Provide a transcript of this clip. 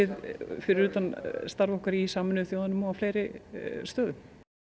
fyrir utan starf okkar í Sameinuðu þjóðunum og fleiri stöðum